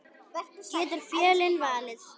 Getur Fjölnir fallið?